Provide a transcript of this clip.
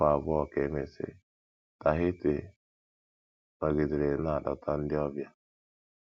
Narị afọ abụọ ka e mesịrị, Tahiti nọgidere na - adọta ndị ọbịa.